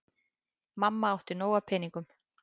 Mamma átti nóg af peningum.